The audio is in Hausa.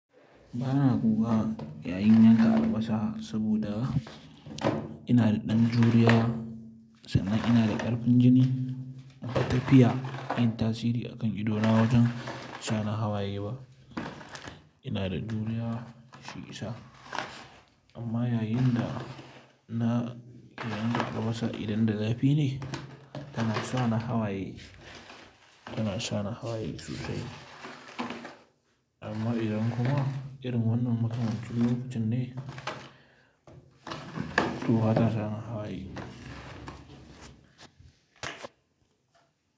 Ba na kuka yayin yanka albasa saboda ina da ɗan juriya sannan ina da ƙarfin jini, batafiya yin tasiri akan idona wajen sa ni hawaye ba. Ina da juriya shi isa. Amma yayin da na idan albasa idon da zafi ne tana sa ni hawaye, tana sa ni hawaye sosai. Amma idan kuma irin wannan makamancin lokacin ne, to bata sa ni hawaye.